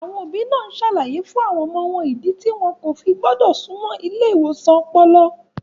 Àwọn òbí náà ń ṣàlàyé fún àwọn ọmọ ìdí tí wọn kò fi gbọ́dọ̀ súnmọ́ ilé ìwòsàn ọpọlọ.